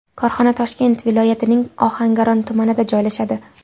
Korxona Toshkent viloyatining Ohangaron tumanida joylashadi.